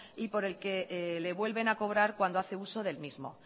y por el que le vuelven a cobrar cuando hace uso del mismo